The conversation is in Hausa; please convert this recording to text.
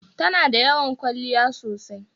Ta na da yawan ƙyaliya sosai.